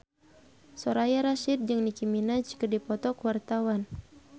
Soraya Rasyid jeung Nicky Minaj keur dipoto ku wartawan